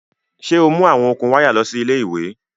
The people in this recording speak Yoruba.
Ṣe o mu awọn okun waya lọ si ile-iwe